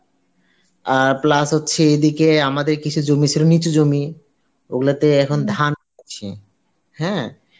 আর plus হচ্ছে আমাদের কিছু জমি ছিল নিচু জমি, ওগুলোতে এখন ধান আছে হ্যাঁ